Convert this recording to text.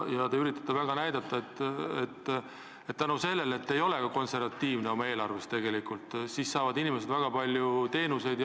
Te üritate väga näidata, et tänu sellele, et te ei ole eelarve koostamisel konservatiivne, saavad inimesed väga palju rohkem teenuseid.